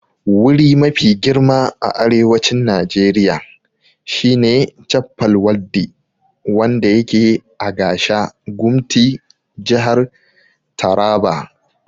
Wuri mafi girma a Arewacin Najeriya shine Chappal Waddi wanda yake a Gasha gumti jihar Taraba